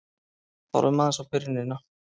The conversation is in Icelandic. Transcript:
Horfum aðeins á byrjunina.